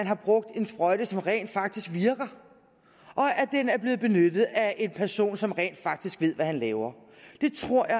har brugt en sprøjte som rent faktisk virker og at den er blevet benyttet af en person som rent faktisk ved hvad han laver det tror